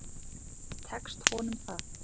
Tekst honum það?